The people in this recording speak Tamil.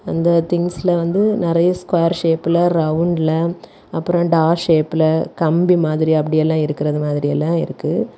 அந்த திங்க்ஸ்ல வந்து நெறைய ஸ்கொயர் ஷேப்ல ரவுண்ட்ல அப்ரோ டா ஷேப்ல கம்பி மாதிரி அப்டி எல்லா இருக்குறது மாதிரி எல்லா இருக்கு.